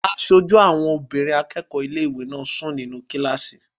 Aṣojú obìnrin àwọn akẹ́kọ̀ọ́ ilé-ìwé náà ń sùn nínu kílásì